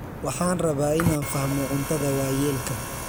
Waxaan rabaa inaan fahmo cuntada waayeelka.